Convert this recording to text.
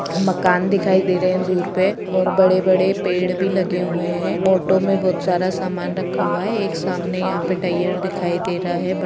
मकान दिखाई दे रहे है दूर पे और बड़े-बड़े पेड़ भी लगे हुए है ऑटो में बोहोत सारा सामान रखा हुआ है एक सामने यहाँ पे टायर दिखाई दे रहा है ब --